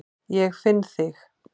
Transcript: Ég finn þig.